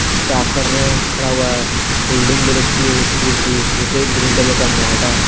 Staff कर रहे हैं खड़ा हुआ है बिल्डिंग बहुत अच्छी है स्कूल की नीचे ग्रीन कलर का मैट है।